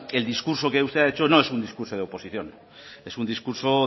el discurso que usted ha hecho no es un discurso de oposición es un discurso